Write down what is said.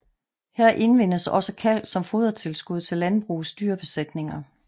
Her indvindes også kalk som fodertilskud til landbrugets dyrebesætninger